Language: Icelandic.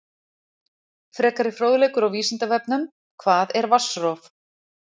Frekari fróðleikur á Vísindavefnum: Hvað er vatnsrof?